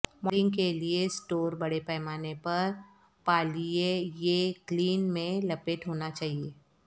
moulding کے لئے store بڑے پیمانے پر پالئیےیکلین میں لپیٹ ہونا چاہئے